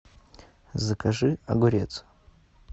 закажи огурец